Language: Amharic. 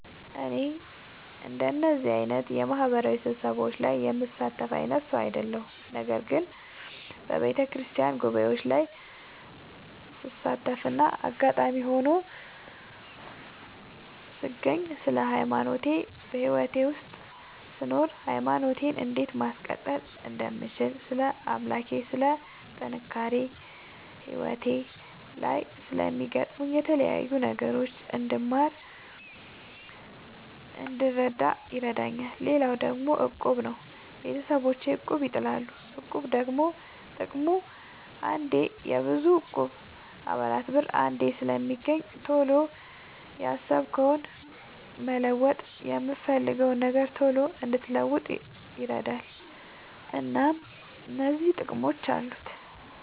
እኔ እንደዚህ አይነት የማህበራዊ ስብሰባዎች ላይ የምሳተፍ አይነት ሰው አይደለሁም። ነገር ግን በየቤተክርስቲያን ጉባኤዎች ላይ ስሳተፍና አጋጣሚ ሆኖ ስገኝ ስለ ሃይማኖቴ በህይወቴ ውስጥ ስኖር ሃይማኖቴን እንዴት ማስቀጠል እንደምችል ስለ አምላኬ ስለ ጥንካሬ ህይወቴ ላይ ስለሚያጋጥሙኝ የተለያዩ ነገሮች እንድማር እንድረዳ ይረዳኛል። ሌላው ደግሞ እቁብ ነው። ቤተሰቦቼ እቁብ ይጥላሉ። እቁብ ደግሞ ጥቅሙ አንዴ የብዙ እቁብ የአባላት ብር አንዴ ስለሚገኝ ቶሎ ያሰብከውን መለወጥ የፈለግከውን ነገር ቶሎ እንድትለውጥ ይረዳል። እናም እነዚህ ጥቅሞች አሉት።